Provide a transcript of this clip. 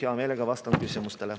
Heameelega vastan küsimustele.